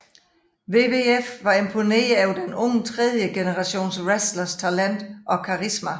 WWF var imponeret over den unge tredjegenerationswrestlers talent og karisma